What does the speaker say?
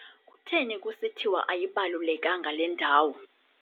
Kutheni kusithiwa ayibalulekanga le ndawo?